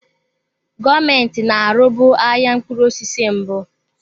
Gọọmenti na-arụbu ahịa mkpụrụ osisi mbụ.